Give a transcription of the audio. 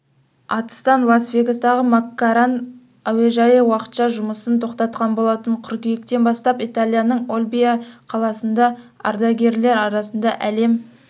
атыстан лас-вегастағы мак-карран әуежайы уақытша жұмысын тоқтатқан болатын қыркүйектен бастап италияның ольбия қаласында ардагерлер арасында әлем